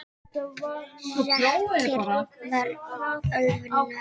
Reknir vegna ölvunar